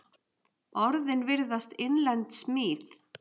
Orðin virðast innlend smíð.